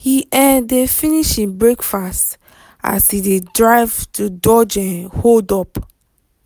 he um dey finish him breakfast as he dey drive to dodge um hold-up.